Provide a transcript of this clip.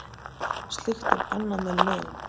Slíkt er bannað með lögum